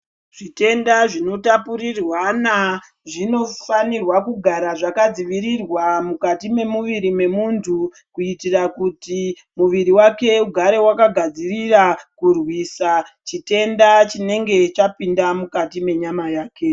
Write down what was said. Zvitenda zvinotapurirwana zvinofanira kugara zvakadzivirirwa mukati memuviri mwemuntu kuitira muti muviri wake ugare wakagadzirira kurwisa chitenda chinenge chapinda mukati mwenyama yake.